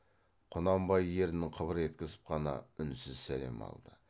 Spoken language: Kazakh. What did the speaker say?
құнанбай ернін қыбыр еткізіп қана үнсіз сәлем алды